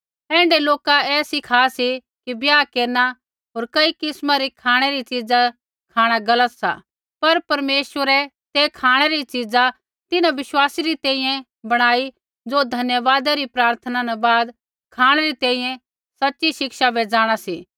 ऐण्ढै लोका ऐ सीखा सी कि ब्याह केरना होर कई किस्मा री खाँणै री च़ीज़ा खाँणा गलत सा पर परमेश्वरै ते खाँणै री च़ीज़ा तिन्हां विश्वासी री तैंईंयैं बणाई ज़ो धन्यवादा री प्रार्थना न बाद खाँणै री तैंईंयैं सच़ी शिक्षा बै जाँणा सी